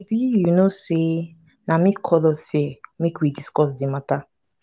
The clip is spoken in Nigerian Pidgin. shebi you know say na me call us here make we discuss the matter